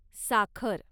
साखर